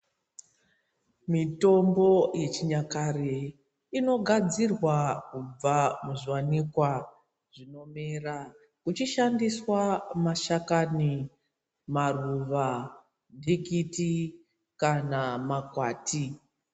Mitombo yechinyakare inogadzirwa kubva muzviwanikwa zvinomera uchishandiswa mashakani, maruva ndikiti kana makwati.